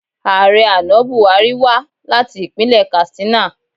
Ààrẹ àná Bùhárí wá láti ìpínlẹ̀ Katstina